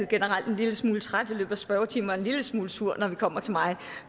generelt en lille smule træt i løbet af spørgetimen og en lille smule sur når vi kommer til mig